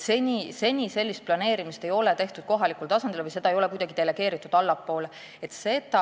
Seni ei ole sellist planeerimist kohalikul tasandil tehtud või seda kuidagi allapoole delegeeritud.